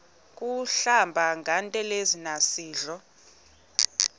kuhlamba ngantelezi nasidlo